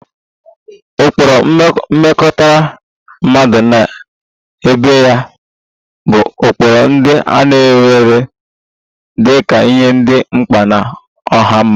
Ụkpụrụ mmekọrịta mmadụ na ibe ya bụ ụkpụrụ ndị a na-ewere dị ka ihe dị mkpa na ọha mmadụ